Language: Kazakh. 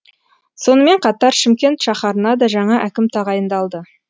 сонымен қатар шымкент шаһарына да жаңа әкім тағайындалды